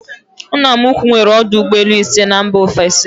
Nna m ukwu nwere ọdụ ụgbọelu ise na mba ofesi